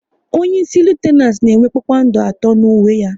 Onyeisi Litenant na enwe kpakpando atọ n'uwe ya